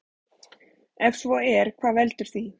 Ef svo er hvað veldur því?